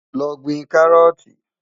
Lọ́ gbìn kárọ́ọ̀tì.